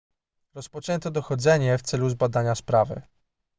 rozpoczęto dochodzenie w celu zbadania sprawy